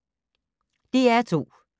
DR2